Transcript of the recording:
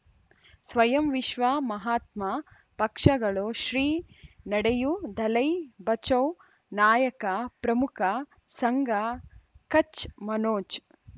ಸ್ವಯಂ ವಿಶ್ವ ಮಹಾತ್ಮ ಪಕ್ಷಗಳು ಶ್ರೀ ನಡೆಯೂ ದಲೈ ಬಚೌ ನಾಯಕ ಪ್ರಮುಖ ಸಂಘ ಕಚ್ ಮನೋಜ್